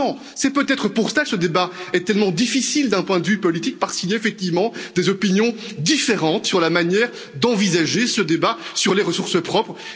C'est peut être pour cela que ce débat est tellement difficile d'un point de vue politique, parce qu'il y a effectivement des opinions différentes sur la manière d'envisager ce débat sur les ressources propres.